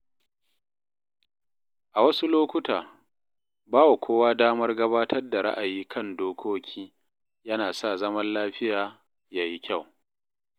A wasu lokuta, bawa kowa damar gabatar da ra'ayi kan dokoki yana sa zaman lafiya ya yi kyau.